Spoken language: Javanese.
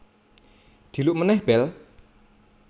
Dhiluk meneh bel